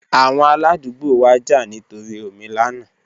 Awọn aladugbo wa ja nitori omi lana